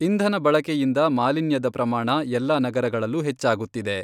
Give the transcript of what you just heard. ಇಂಧನ ಬಳಕೆಯಿಂದ ಮಾಲಿನ್ಯದ ಪ್ರಮಾಣ ಎಲ್ಲಾ ನಗರಗಳಲ್ಲೂ ಹೆಚ್ಚಾಗುತ್ತಿದೆ.